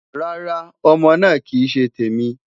Rara, Ọmọ naa kii ṣe temi